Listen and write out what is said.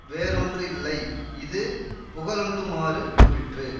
வேறொன்றில்லை இது புகழுண்டுமாறு கூறிற்று